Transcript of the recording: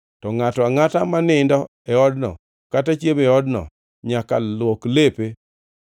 To ngʼato angʼata ma nindo e odno kata chiemo e odno, nyaka luok lepe.